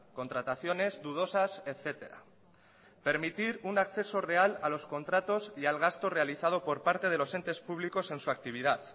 contrataciones dudosas etcétera permitir un acceso real a los contratos y al gasto realizado por parte de los entes públicos en su actividad